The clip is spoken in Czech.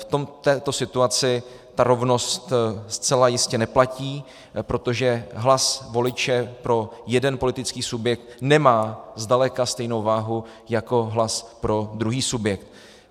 V této situaci ta rovnost zcela jistě neplatí, protože hlas voliče pro jeden politický subjekt nemá zdaleka stejnou váhu jako hlas pro druhý subjekt.